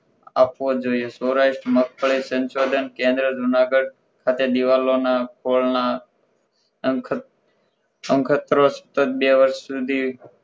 આપવો જોઈએ સૌરાષ્ટ્ર મગફળી સંશોધન કેન્દ્ર જુનાગઢ ખાતે દિવાલોના ફળના સંખદ સાંદ્રધત બે વર્ષ સુધી